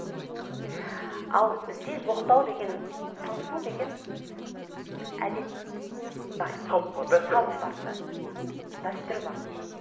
ал бізде жоқтау деген сыңсу деген әдет бар салт бар дәстүр бар дәстүр бар